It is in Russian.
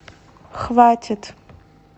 хватит